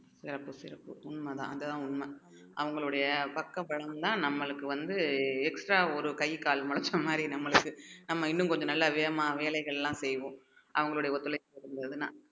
சிறப்பு சிறப்பு உண்மைதான் அதுதான் உண்மை அவங்களுடைய பக்க பலன்தான் நம்மளுக்கு வந்து extra ஒரு கை கால் முளைச்ச மாதிரி நம்மளுக்கு நம்ம இன்னும் கொஞ்சம் நல்லா வேகமா வேலைகள்லாம் செய்வோம் அவங்களுடைய ஒத்துழைப்பு இருந்துதுன்னா